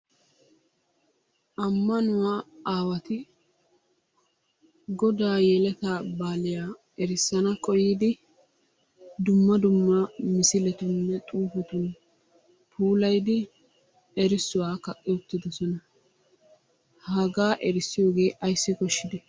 Ammanuwa aawati godaa yeletaa baaliya erissana koyyidi dumma dumma misiletuuninne xuufetun puulayidi erissuwa kaqqi uttidosona. Hagaa erissiyogee ayssi koshshidee?